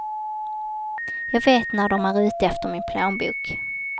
Jag vet när dom är ute efter min plånbok.